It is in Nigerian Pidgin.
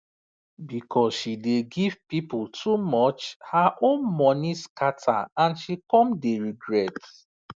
because she dey give people too much her own money scatter and she come dey regret